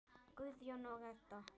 Guðjón og Edda.